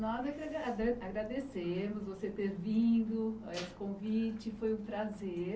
Nós agrade agrademos você ter vindo, esse convite, foi um prazer.